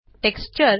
texture